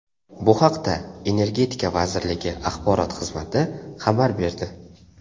Bu haqda Energetika vazirligi axborot xizmati xabar berdi .